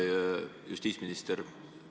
Hea justiitsminister!